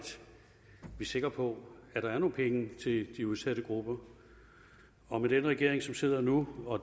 sikker på at der er nogle penge til de udsatte grupper og med den regering som sidder nu og